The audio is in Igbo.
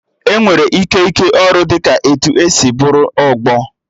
Enwere ike ịke ọrụ dị ka etu e si bụrụ ọgbọ